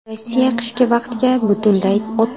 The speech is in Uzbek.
Rossiya qishki vaqtga butunlay o‘tdi.